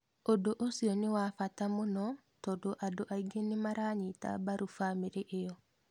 "ũndũ ũcio nĩ wa mbata mũno tondũ andũ aingĩ nĩmaranyita mbaru bamĩrĩ ĩyo"